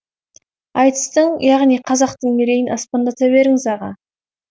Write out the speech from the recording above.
айтыстың яғни қазақтың мерейін аспандата беріңіз аға